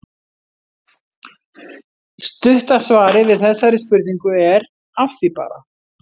Stutta svarið við þessari spurningu er: Að því bara!